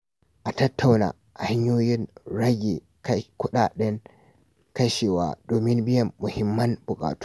A tattauna hanyoyin rage kuɗaɗen kashewa domin biyan muhimman buƙatu.